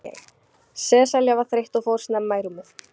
Sesselja var þreytt og fór snemma í rúmið.